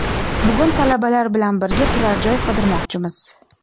Bugun talabalar bilan birga turar joy qidirmoqchimiz.